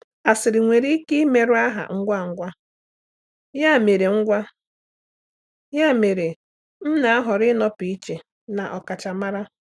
Asịrị nwere ike imerụ aha ngwa ngwa, ya mere ngwa, ya mere m na-ahọrọ ịnọpụ iche na ọkachamara.